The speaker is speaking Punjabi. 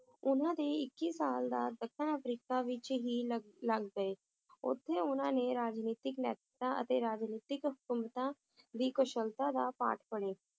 ਉਹਨਾਂ ਦੇ ਇੱਕੀ ਸਾਲ ਤਾਂ ਦੱਖਣ ਅਫ੍ਰੀਕਾ ਵਿਚ ਹੀ ਲੱਗ, ਲੱਗ ਗਏ ਓਥੇ ਉਹਨਾਂ ਨੇ ਰਾਜਨੀਤਿਕ ਨੈਤਿਕਤਾ ਤੇ ਰਾਜਨੀਤਿਕ ਹਕੂਮਤਾਂ ਦੀ ਕੁਸ਼ਲਤਾ ਦਾ ਪਾਠ ਪੜ੍ਹਿਆ